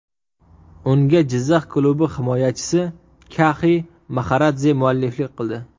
Unga Jizzax klubi himoyachisi Kaxi Maxaradze mualliflik qildi.